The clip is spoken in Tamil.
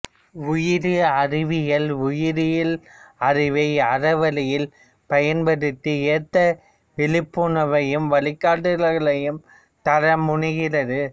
உயிரி அறவியல் உயிரியல் அறிவை அறவழி்யில் பயன்படுத்த ஏற்ற விழிப்புணர்வையும் வழிகாட்டல்களையும் தர முனைகிறது